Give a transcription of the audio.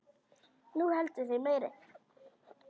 Þú heldur þig meiri.